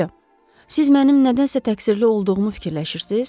Myusyo, siz məndən nədənsə təqsirli olduğumu fikirləşirsiz?